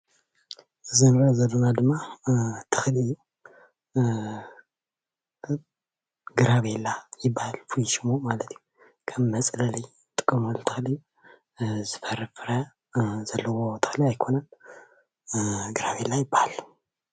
እዚ እንሪኦ ዘለና ድማ ተኽሊ ግራቤላ ይባሃል ፍሉይ ሽሙ ማለት እዩ። ከም መፅለሊ እንጥቐመሉ ተኽሊ ዝፈሪ ፍረ ዘለዎ ተኽሊ ኣይኮነን ግራቤላ ይባሃል።